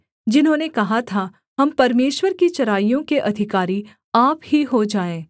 जिन्होंने कहा था हम परमेश्वर की चराइयों के अधिकारी आप ही हो जाएँ